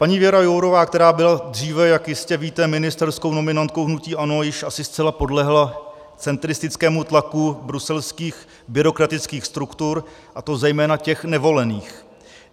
Paní Věra Jourová, která byla dříve, jak jistě víte, ministerskou nominantkou hnutí ANO, již asi zcela podlehla centristickému tlaku bruselských byrokratických struktur, a to zejména těch nevolených.